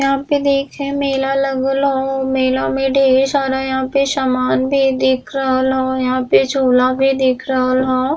यहाँ पे देखे मेला लगल हो मेला में ढ़ेर सारा यहाँ पे सामन भी दिख रहल हो यहाँ पे झुला भी दिख रहल हो।